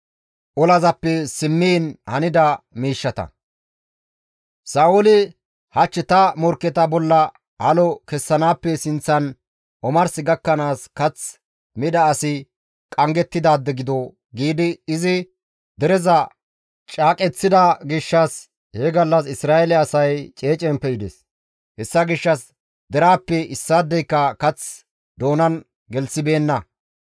Sa7ooli, «Hach ta morkketa bolla halo kessanaappe sinththan omars gakkanaas kath mida asi qanggettidaade gido» giidi izi dereza caaqeththida gishshas he gallas Isra7eele asay ceecen pe7ides; hessa gishshas deraappe issaadeyka kath doonan gelththibeenna.